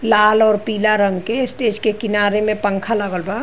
लाल और पीला रंग के स्टेज के किनारे में पखां लागल बा।